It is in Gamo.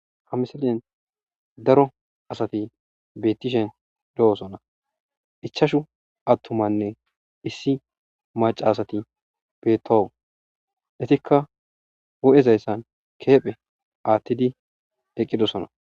ha misalen daro asati bettishen de7osona ichashu attumanne issi maca asati beettou etikka wu7ezayssan keephe aattidi eqqidosona